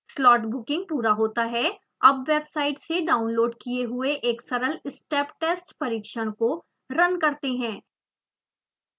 slot booking पूरा होता है अब वेबसाइट से डाउनलोड किये हुए एक सरल step test परिक्षण को रन करते हैं